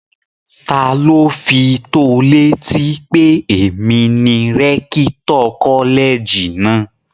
Taló fi tó ọ létí pé èmi ni rẹ́kítọ̀ kọ́lẹ̀jì náà?